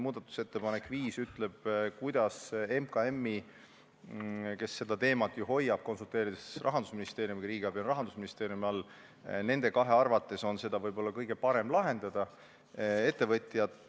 Muudatusettepanek nr 5 ütleb, kuidas MKM-i arvates, kes seda teemat ju hoiab, ja Rahandusministeeriumiga konsulteerides – riigiabi on Rahandusministeeriumi all – on seda küsimust võib-olla kõige parem lahendada.